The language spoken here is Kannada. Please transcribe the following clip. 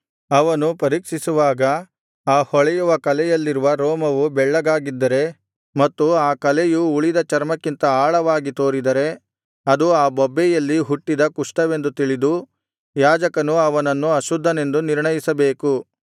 ಅವನು ಪರೀಕ್ಷಿಸುವಾಗ ಆ ಹೊಳೆಯುವ ಕಲೆಯಲ್ಲಿರುವ ರೋಮವು ಬೆಳ್ಳಗಾಗಿದ್ದರೆ ಮತ್ತು ಆ ಕಲೆಯು ಉಳಿದ ಚರ್ಮಕ್ಕಿಂತ ಆಳವಾಗಿ ತೋರಿದರೆ ಅದು ಆ ಬೊಬ್ಬೆಯಲ್ಲಿ ಹುಟ್ಟಿದ ಕುಷ್ಠವೆಂದು ತಿಳಿದು ಯಾಜಕನು ಅವನನ್ನು ಅಶುದ್ಧನೆಂದು ನಿರ್ಣಯಿಸಬೇಕು